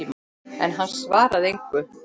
En hann svaraði engu.